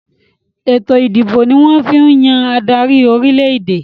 Ètò ìdìbò ni wọ́n fi ń yàn adarí orílẹ̀-èdè